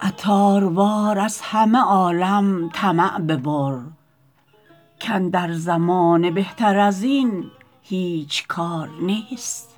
عطاروار از همه عالم طمع ببر کاندر زمانه بهتر ازین هیچ کار نیست